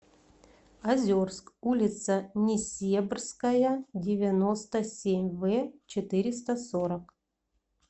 озерск улица несебрская девяносто семь в четыреста сорок